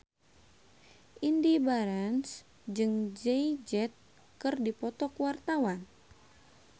Indy Barens jeung Jay Z keur dipoto ku wartawan